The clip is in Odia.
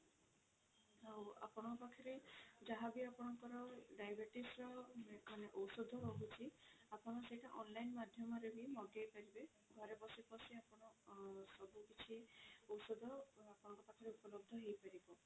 ଔ ଆପଣଙ୍କ ପାଖରେ ଯାହା ବି ଆପଣଙ୍କର diabetes ର ମାନେ ଓଷଧ ରହୁଛି ଆପଣ ସେଇଟା online ମାଧ୍ୟମରେ ବି ମଗେଇ ପାରିବେ ଘରେ ବସି ବସି ଆପଣ ସବୁ କିଛି ଓଷଧ ଆପଣଙ୍କ ପାଖରେ ଉପଲବ୍ଧ ହେଇ ପାରିବ।